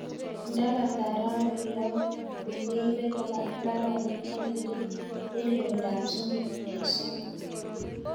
ndapata rawek loo ko keibe koba mbaronik ak kende eng' loindo ab sosom eng' sosom